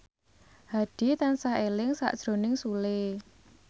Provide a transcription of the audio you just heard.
Hadi tansah eling sakjroning Sule